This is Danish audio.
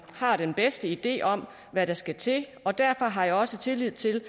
har den bedste idé om hvad der skal til og derfor har jeg også tillid til